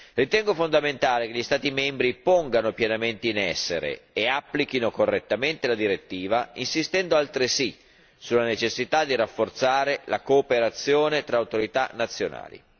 Ritengo fondamentale che gli Stati membri pongano pienamente in essere e applichino correttamente la direttiva, insistendo altresì sulla necessità di rafforzare la cooperazione tra autorità nazionali.